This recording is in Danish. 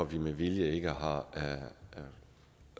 vi med vilje ikke har